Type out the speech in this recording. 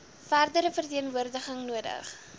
verdere verteenwoordiging nodig